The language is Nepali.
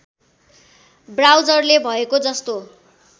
ब्राउजरले भएको जस्तो